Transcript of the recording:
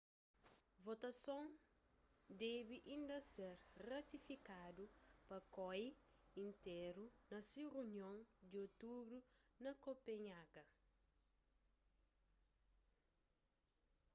votason debe inda ser ratifikadu pa koi intéru na se runion di otubru na kopenhaga